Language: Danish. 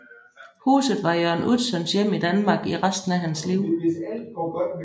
Huset var Jørn Utzons hjem i Danmark i resten af hans liv